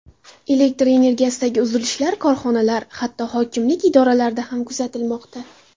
Elektr energiyasidagi uzilishlar kasalxonalar, hatto hokimlik idoralarida ham kuzatilmoqda.